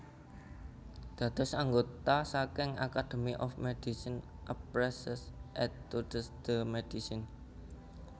Dados anggota saking Academy of MedicineAprès ses études de médecine